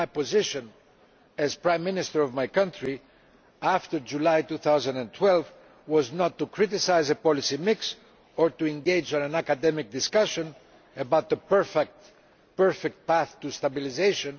But my position, as Prime Minister of my country after July 2012, was not to criticise the policy mix or engage in an academic discussion about the perfect path to stabilisation